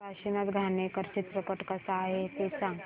काशीनाथ घाणेकर चित्रपट कसा आहे ते सांग